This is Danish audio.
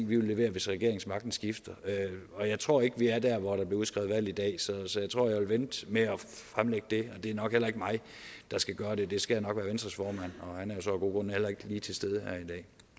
vi vil levere hvis regeringsmagten skifter jeg tror ikke at vi er der hvor der bliver udskrevet valg i dag så så jeg tror at jeg vil vente med at fremlægge det det er nok heller ikke mig der skal gøre det det skal jo nok være venstres formand og han er så af gode grunde heller ikke lige til stede her i dag